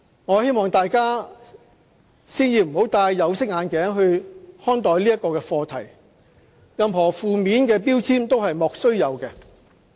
我希望大家先不要戴"有色眼鏡"看待這個課題，任何負面的標籤都是"莫須有"的。